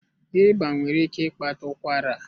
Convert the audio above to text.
Ịba nwere ike ịkpata ụkwara.